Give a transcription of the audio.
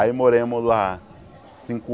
Aí moramos lá cinco